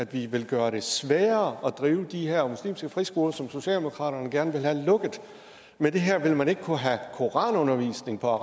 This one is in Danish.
vi vil gøre det sværere at drive de her muslimske friskoler som socialdemokratiet gerne vil have lukket med det her vil man ikke kunne have koranundervisning på